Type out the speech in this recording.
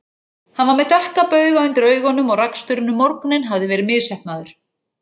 Hann var með dökka bauga undir augunum og raksturinn um morguninn hafði verið misheppnaður.